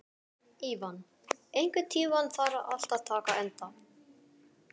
Ívan, einhvern tímann þarf allt að taka enda.